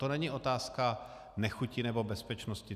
To není otázka nechuti nebo bezpečnosti.